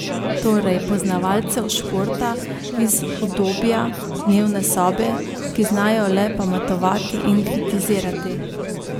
Torej poznavalcev športa iz udobja dnevne sobe, ki znajo le pametovati in kritizirati.